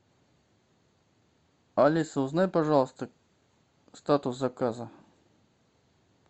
алиса узнай пожалуйста статус заказа